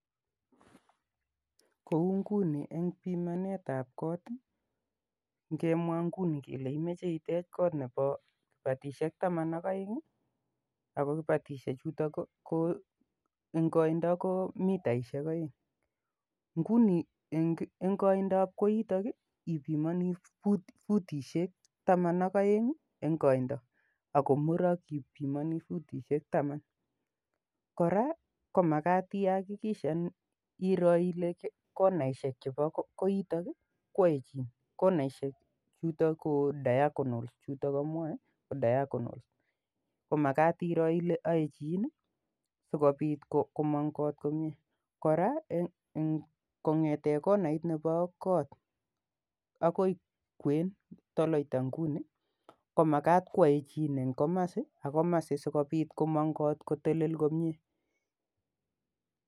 Kou nguni eng' pimanet ap kot i, ngemwa nguni kele imache itech koot nepa kipatishek taman ak aeng' ako kipatishechuto eng' koindo ko mitaishek aeng'. Nguni eng' koinds ap koitok ipimani futishek taman ak aeng' i,eng' koinda ako murak ipimani futishek taman. Kora ko makat iakikishan iro ile konaishek chepa koitok i , ko aechin. Konaishechuto ko diagonals chutok amwae ko diagonals ko makat iro ile aechin i, si kopit komang' koot komye. Kora ko kobg'ete konait nepo kot akoi kwen, tolaita nguni ko makat koaechin eng' komasi ak komasin asikopit kot kotelel komye.